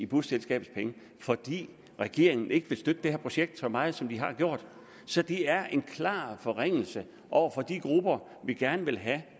busselskabet fordi regeringen ikke vil støtte det her projekt så meget som de har gjort så det er en klar forringelse over for de grupper vi gerne vil have